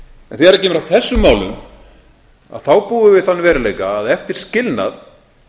en þegar kemur að þessum málum þá búum við við þann veruleika að eftir skilnað